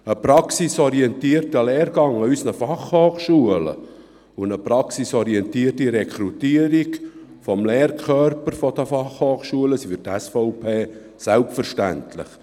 Ein praxisorientierter Lehrgang an unseren Fachhochschulen und eine praxisorientierte Rekrutierung des Lehrkörpers sind für die SVP selbstverständlich.